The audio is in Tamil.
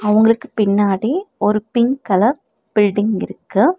அவங்களுக்கு பின்னாடி ஒரு பிங்க் கலர் பில்டிங் இருக்கு.